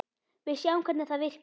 Við sjáum hvernig það virkar.